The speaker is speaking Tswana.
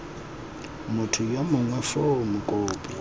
motho yo mongwe foo mokopi